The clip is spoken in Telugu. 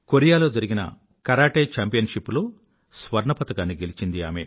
కొరియాలో జరిగిన కరాటే ఛాంపియన్ షిప్ లో స్వర్ణ పతకాన్ని గెలిచింది